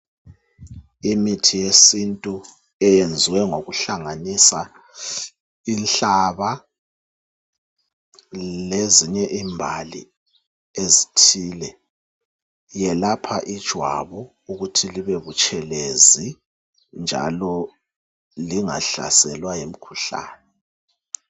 Imithi yesintu eyenziwe ngokuhlanganisa inhlaba lezinye imbali ezithile. Iyelapha ijwabu ukuthi libe buthelezi njalo lingahlaselwa yimkhuhlani.